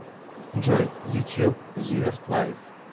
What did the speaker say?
джой ютуб зиверт лайф